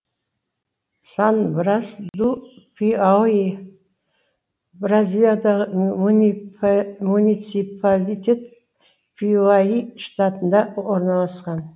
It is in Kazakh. сан брас ду пиауи бразилиядағы муниципалитет пиуаи штатында орналасқан